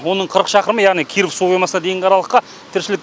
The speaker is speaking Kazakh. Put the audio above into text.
оның қырық шақырымы яғни киров су қоймасына дейінгі аралыққа тіршілік